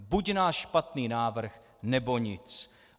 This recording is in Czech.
Buď náš špatný návrh, nebo nic!